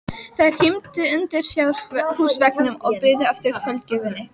Þær hímdu undir fjárhúsveggnum og biðu eftir kvöldgjöfinni.